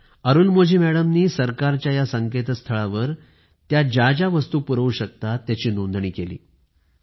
या अरुलमोझी मॅडमनी सरकारच्या या संकेतस्थळावर त्या ज्याज्या वस्तू पुरवू शकतात त्याची नोंदणी केली